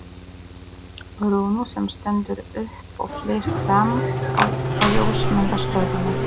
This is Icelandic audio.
Rúnu sem stendur upp og flýr fram á ljósmyndastofuna.